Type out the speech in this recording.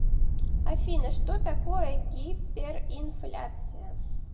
афина что такое гиперинфляция